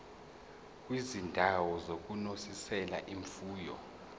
kwizindawo zokunonisela imfuyo